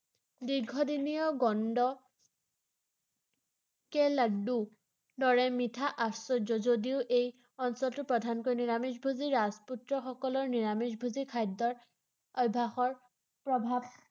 দীৰ্ঘদিনীয়া গন্দ কে লাড্ডুৰ দৰে মিঠা আশ্চৰ্য ৷ যদিও এই অঞ্চলটো প্ৰধানকৈ নিৰামিষভোজী ৰাজপুত্ৰসকলৰ নিৰামিষভোজী খাদ্যৰ অভ্যাসৰ প্ৰভাৱ